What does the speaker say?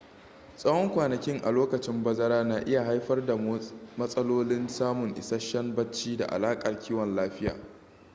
tsawon kwanakin a lokacin bazara na iya haifar da matsalolin samun isasshen bacci da alaƙar kiwon lafiya